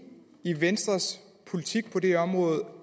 i venstres politik på det område